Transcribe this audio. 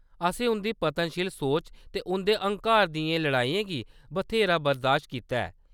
असें उंʼदी पतनशील सोच ते उंʼदे हंकार दियें लड़ाइयें गी बत्हेरा बरदाश्त कीता ऐ।